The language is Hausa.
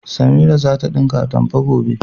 Samiya za ta ɗinka atamfa, gobe.